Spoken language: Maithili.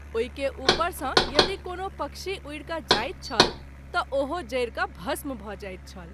ओहि के उपर सँ यदि कोनो पक्षी उड़ि क’ जाइत छल त’ ओहो जरि क’ भस्म भ’ जाइत छल।